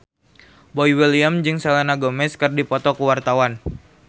Boy William jeung Selena Gomez keur dipoto ku wartawan